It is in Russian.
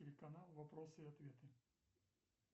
телеканал вопросы и ответы